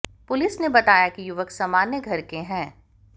police ने बताया कि युवक सामान्य घर के हैं